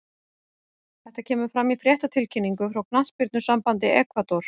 Þetta kemur fram í fréttatilkynningu frá knattspyrnusambandi Ekvador.